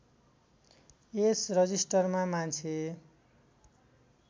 यस रजिस्टरमा मान्छे